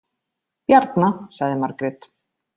Bjarna, sagði Margrét.